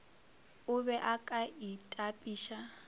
o be o ka itapiša